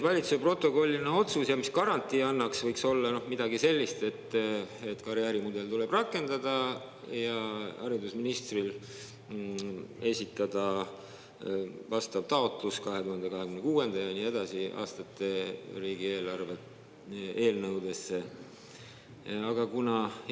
Valitsuse protokolliline otsus, mis garantii annaks, võiks olla midagi sellist, et karjäärimudel tuleb rakendada ja haridusministril tuleb esitada vastav taotlus 2026. aasta ja nii edasi aastate riigieelarve eelnõu kohta.